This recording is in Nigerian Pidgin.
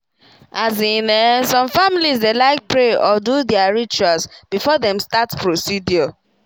as in[um]some families dey like pray or do their rituals before dem start procedure